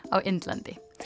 á Indlandi